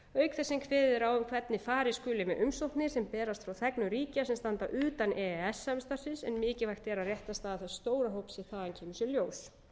kveðið er á um hvernig farið skuli með umsóknir sem berast frá þegnum ríkja sem standa utan e e s samstarfsins en mikilvægt er að réttarstaða þess stóra hóps sem þaðan kemur sé ljós